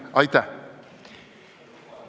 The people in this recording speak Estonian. Aitäh!